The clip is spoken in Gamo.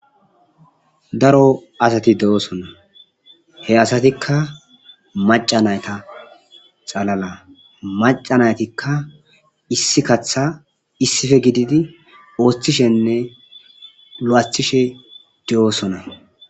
Daro asati de7oosona he asatikka maca nayta xalala maca naytikka issi katha issife gididi ooththishenne la7athishe de7oosona